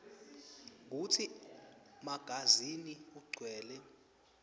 kutsi magazini ugcwele